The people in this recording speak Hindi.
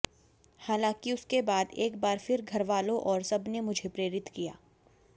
हालांकि उसके बाद एक बार फिर घरवालों और सबने मुझे प्रेरित किया